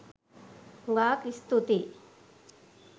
හුගාක් ස්තූතියි.